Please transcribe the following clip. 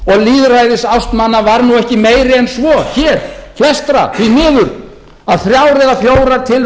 lýðræðisást manna var nú ekki meiri en svo hér flestra því miður að þrjár